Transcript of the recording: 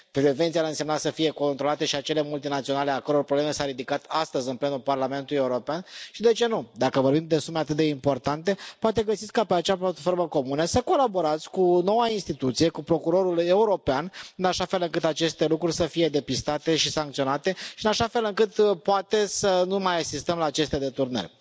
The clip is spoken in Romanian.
Prevenția ar însemna să fie controlate și acele multinaționale a căror problemă s a ridicat astăzi în plenul Parlamentului European și, de ce nu, dacă vorbim de sume atât de importante, poate găsiți ca pe acea platformă comună să colaborați cu o noua instituție, cu Procurorul European, în așa fel încât aceste lucruri să fie depistate și sancționate și în așa fel încât, poate, să nu mai asistăm la aceste deturnări.